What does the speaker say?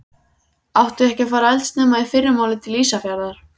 Áttu ekki að fara eldsnemma í fyrramálið til Ísafjarðar?